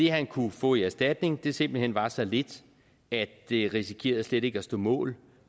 han kunne få i erstatning simpelt hen var så lidt at det risikerede slet ikke at stå mål